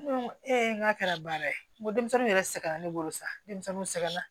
Ee n k'a kɛra baara ye n ko denmisɛninw yɛrɛ sɛgɛn na ne bolo sa denmisɛnw sɛgɛnna